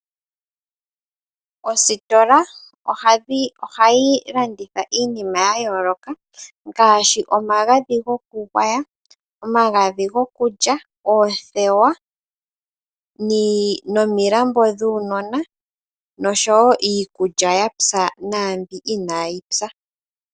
Ositola ohayi landitha iinima ya yooloka ngaashi omagadhi gokugwaya, oamgadhi gokulya, oothewa nomilambo dhuunona noshowo iikulya yapya naambi inaayi pya.